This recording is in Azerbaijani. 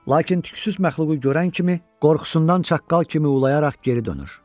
Lakin tüklüxsüz məxluqu görən kimi qorxusundan çaqqal kimi ulayaraq geri dönür.